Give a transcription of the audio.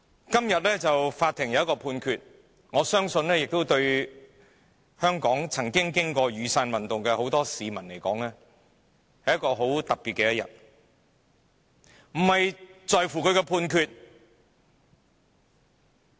今天法院作出了一項判決，我相信對曾經歷雨傘運動的眾多香港市民而言，這是很特別的一天，但我們在乎的並非判決。